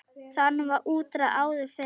Þaðan var útræði áður fyrr.